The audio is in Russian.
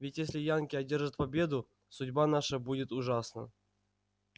ведь если янки одержат победу судьба наша будет ужасна